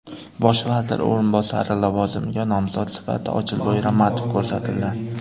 Bosh vazir o‘rinbosari lavozimiga nomzod sifatida Ochilboy Ramatov ko‘rsatildi.